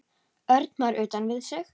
Örn var utan við sig.